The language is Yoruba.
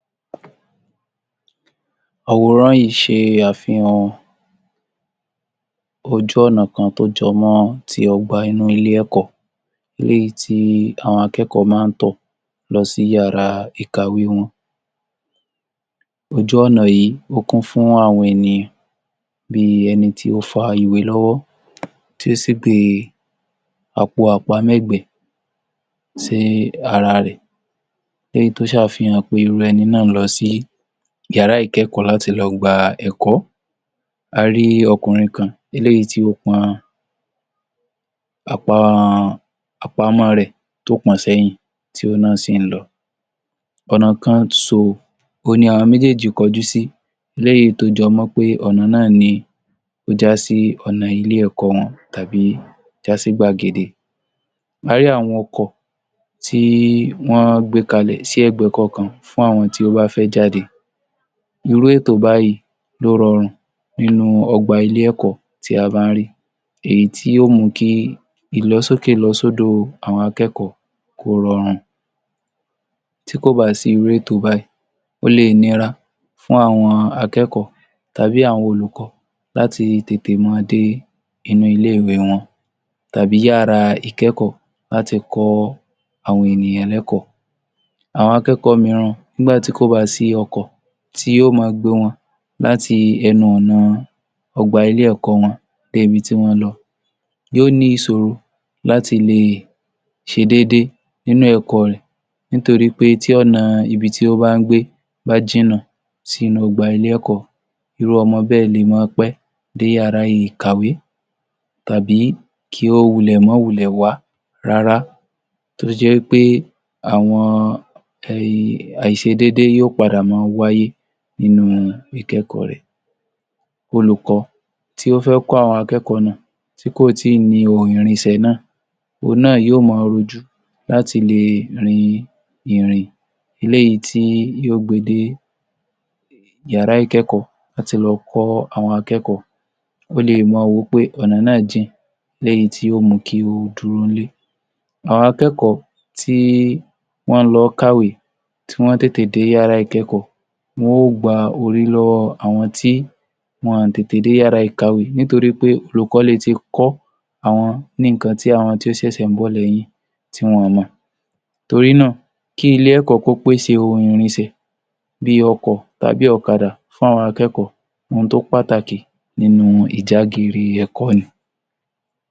Àwòrán yìí ń ṣe àfihàn ojú ọ̀nà kan tó jọ mọ́ ti ọgbà inú ilé ẹ̀kọ́. Eléyìí tí àwọn akẹ́kọ̀ọ́ máa ń tọ̀ lọ́ sí yàrá ìkàwé wọn. Ojú ọ̀nà yìí ó kún fú àwọn ènìyàn bí i ẹni tí ó fa ìwé lọ́wọ́, tí ó sì gbé àpò àpamẹ́gbẹ̀ẹ́ sí ara rẹ̀. Léyìí tó ṣàfihàn irú ẹni náà ń lọ sí yàrá ìkẹ́kọ̀ọ́ láti lọ gba ẹ̀kọ́. A rí ọkùnrin kan eléyìí tí ó pọn àpamọ́ rẹ̀ tó pọ̀n-ọ́n sẹ́yìn, tí òhun náà sì ń lọ. Ọ̀nà kan so òhun ni àwọn méjéèjì kọjú sí léyìí tó jọ mọ́ pé ọ̀nà náà ni ó já sih ọ̀nà ilé-ẹ̀kọ́ wọn tàbí já sí gbàgede. A rí àwọn ọkọ̀ tí wọ́n gbé kalẹ̀ ẹ̀gbẹ́ kọ̀ọ̀kan fún àwọn tí ó bá fẹ́ jáde. Irú ètò báyìí ni ó rọrùn nínú ọgbà ilé-ẹ̀kọ́ tí a bá ń rí. Èyí tí yóò mú kí ilọsókèlọsódò àwọn akẹ́kọ̀ọ́ kó rọrùn; tí kò bá sí irú ètò báyìí ó le è nira fún àwọn akẹ́kọ̀ọ́ tàbí àwọn olùkọ́ láti tètè máa dé inú ile-ìwé wọn tàí yàrá ìkẹ́kọ̀ọ́ láti kọ́ àwọn ènìyàn lékọ̀ọ́. Àwọn akẹ́kọ̀ọ́ ń’gbà tí kò bá sí ọkọ̀ tí yóò máa gbé wọn láti ẹnu ọ̀nà ọgbà ilé-ẹ̀kọ́ wọn dé ibi tí wọ́n ń lọ yóò ní ìṣòro láti le ṣedéédé nínú èkọ rẹ̀ ńtorí pé tí ọ̀nà ibi tí ó bá ń gbé bá jìnnà sínú ọgbà ilé-ẹ̀kọ́ irú ọmọ báẹ̀ le máa pé dé yàrá ìkàwé tàbí kí o wulẹ̀ má wulẹ̀ wá rárá. Tó dè jẹ́ wí pé àwọn àìṣedéédé yóò wá padà máa wáyé nínú ìkẹ́kọ̀ọ́ rẹ̀. Olùkọ́ tí ó fẹ́ kọ́ àwọn akẹ́kọ̀ọ́ náà tí kò tíì ní ohun ìrìnsẹ̀ náà, òhùn náà yóò máa rojú láti le rin ìrìn eléyìí tí yóò gbé e dé yàrá ìkẹ́kọ̀ọ́ láti lọ kọ́ àwọn akẹ́kọ̀ọ́. Ó le è máa wò ó pé ọ̀nà náà jìn léyìí tí ó mú u kí ó dúró nílé. Àwọn akẹ́kọ̀ọ́ tí wọ́n ń lọ kàwé tí wọ́n ó tètè dé yàrá ìkẹ́kọ̀ọ́, wọ́n ó gba ore lọ́wọ́ àwọn tí wọ́n ò tẹ̀tè dé yàrá ìkàwé nítorí olùkọ́ le ti kọ́ àwọn ní nǹkan tí àwọn tí ó ń ṣẹ̀ṣẹ̀ ń bọ̀ léyìn tí wọn ò mọ̀ torí náà kí ilé-ẹ̀kọ́ kó pésè ohun ìrinsẹ̀ bí ọkọ̀ tàbí ọ̀kadà fún àwọn akẹ́kọ̀ọ́. Ohun tó pàtàkì nínú ìjágeere ẹ̀kọ́ ni.